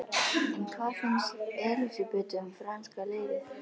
En hvað finnst Elísabetu um franska liðið?